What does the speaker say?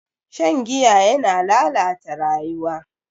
Shan giya yana lalata rayuwa.